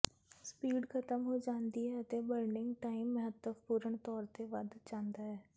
speed ਖਤਮ ਹੋ ਜਾਂਦੀ ਹੈ ਅਤੇ ਬਰਨਿੰਗ ਟਾਈਮ ਮਹੱਤਵਪੂਰਣ ਤੌਰ ਤੇ ਵਧ ਜਾਂਦਾ ਹੈ